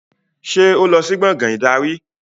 Ṣé o ti lọ sí gbàngán ìdarí?